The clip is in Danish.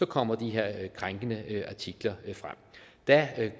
kommer de her krænkende artikler frem der